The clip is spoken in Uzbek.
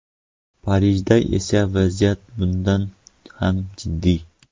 Parijda esa vaziyat bundan ham jiddiy.